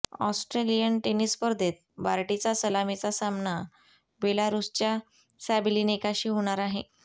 Australian tennis स्पर्धेत बार्टीचा सलामीचा सामना बेलारूसच्या सॅबेलिनेकाशी होणार आहे